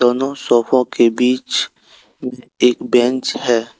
दोनों सोफों के बीच एक बैंच है।